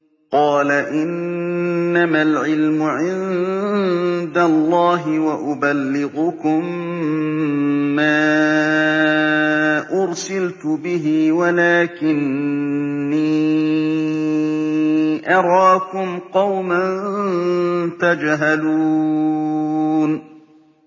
قَالَ إِنَّمَا الْعِلْمُ عِندَ اللَّهِ وَأُبَلِّغُكُم مَّا أُرْسِلْتُ بِهِ وَلَٰكِنِّي أَرَاكُمْ قَوْمًا تَجْهَلُونَ